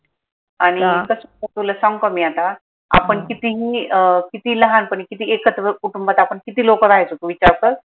आनि तुला सांगू का मी आता आपण कितीही अह किती लहानपणी किती एकत्र कुटुंबात आपण किती लोक राहायचो तू विचार कर